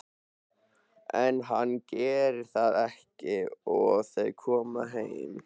En hann gerir það ekki og þau koma heim.